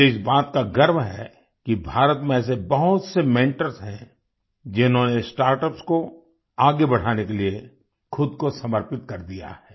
मुझे इस बात का गर्व है कि भारत में ऐसे बहुत से मेंटर्स हैं जिन्होंने स्टार्टअप्स को आगे बढ़ाने के लिए खुद को समर्पित कर दिया है